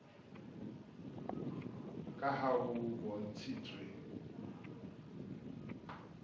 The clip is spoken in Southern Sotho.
ka ha ho bontshitswe kabong